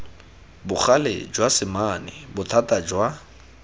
bogale jwa semane bothata jwa